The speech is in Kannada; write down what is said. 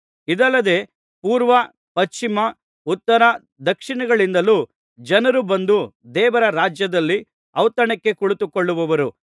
ಇದಲ್ಲದೆ ಪೂರ್ವ ಪಶ್ಚಿಮ ಉತ್ತರ ದಕ್ಷಿಣಗಳಿಂದಲೂ ಜನರು ಬಂದು ದೇವರ ರಾಜ್ಯದಲ್ಲಿ ಔತಣಕ್ಕೆ ಕುಳಿತುಕೊಳ್ಳುವರು